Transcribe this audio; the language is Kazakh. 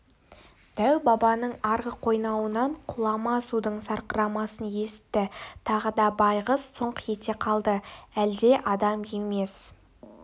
дәу-бабаның арғы қойнауынан құлама судың сарқырамасын есітті тағы да байғыз сұңқ ете қалды әлде адам емес